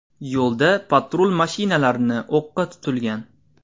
Yo‘lda patrul mashinalarini o‘qqa tutilgan.